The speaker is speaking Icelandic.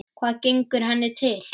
Hvað gengur henni til?